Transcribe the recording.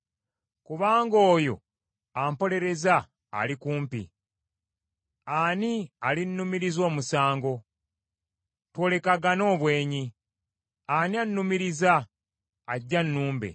Kubanga oyo ampolereza ali kumpi. Ani alinnumiriza omusango? Twolekagane obwenyi. Ani annumiriza? Ajje annumbe.